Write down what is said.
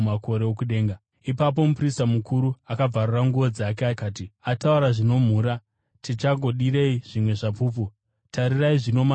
Ipapo muprista mukuru akabvarura nguo dzake akati, “Ataura zvinomhura. Tichagodirei zvimwe zvapupu? Tarirai, zvino manzwa kumhura kwake.